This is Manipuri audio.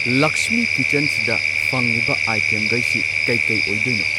ꯂꯛꯁꯃꯤ ꯀꯤꯆꯟꯁꯤꯗ ꯐꯪꯉꯤꯕ ꯑꯥꯏꯇꯦꯝꯒꯩꯁꯤ ꯀꯩꯀꯩ ꯑꯣꯏꯗꯣꯏꯅꯣ